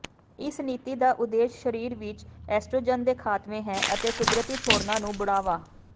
ਇਸ ਨੀਤੀ ਦਾ ਉਦੇਸ਼ ਸਰੀਰ ਵਿੱਚ ਐਸਟ੍ਰੋਜਨ ਦੇ ਖਾਤਮੇ ਹੈ ਅਤੇ ਕੁਦਰਤੀ ਛੋਡ਼ਨਾ ਨੂੰ ਬੁੜ੍ਹਾਵਾ